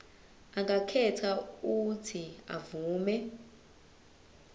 angakhetha uuthi avume